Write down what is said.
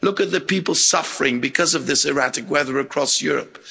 Look at the people suffering because of this erratic weather across Europe.